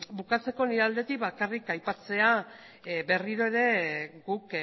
bukatzeko nire aldetik bakarrik aipatzea berriro ere guk